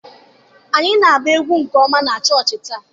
Anyị na-agba egwu nke ọma na chọọchị taa.